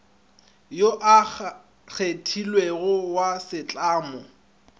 yo a kgethilwego wa setlamo